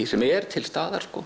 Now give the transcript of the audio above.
sem er til staðar